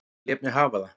Ég lét mig hafa það.